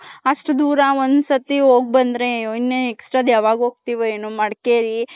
ಅಷ್ಟ್ ದೂರ ಒಂದ್ ಸತಿ ಹೋಗ್ ಬಂದ್ರೆ ಯಾವಾಗ್ ಹೋಗ್ತಿವೋ ಮಡಕೇರಿ.